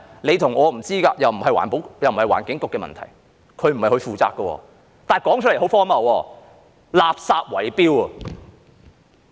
你和我也不知道，這也不是環境局的問題，不是由它負責的，但說出來是很荒謬的，是垃圾圍標。